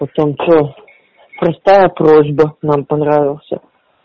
потом что простая просьба нам понравился